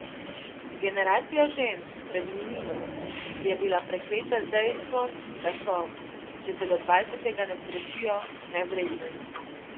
Generacija žensk pred Milino je bila prekleta z dejstvom, da so, če se do dvajsetega ne poročijo, nevredne.